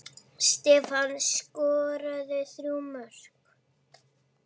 Stefán skoraði þrjú mörk.